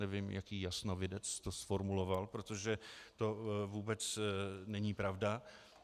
Nevím, jaký jasnovidec to zformuloval, protože to vůbec není pravda.